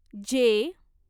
जे